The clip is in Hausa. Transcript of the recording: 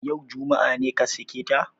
Yau, juma'a, ne ka sake ta?